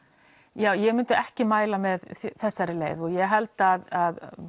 ja ég myndi ekki mæla með þessari leið og ég held að